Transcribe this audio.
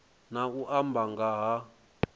na u amba nga ha